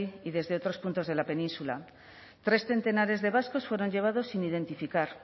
y desde otros puntos de la península tres centenares de vascos fueron llevados sin identificar